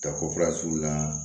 Ka ko fara suru la